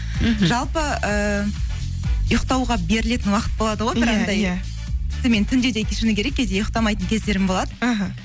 мхм жалпы ііі ұйықтауға берілетін уақыт болады ғой түнде де шыны керек кейде ұйықтамайтын кездерім болады іхі